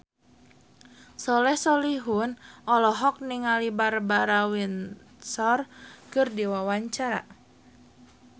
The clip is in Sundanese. Soleh Solihun olohok ningali Barbara Windsor keur diwawancara